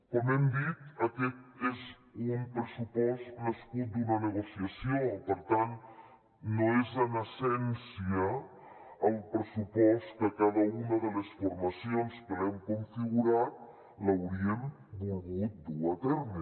com hem dit aquest és un pressupost nascut d’una negociació per tant no és en essència el pressupost que cada una de les formacions que l’hem configurat hauríem volgut dur a terme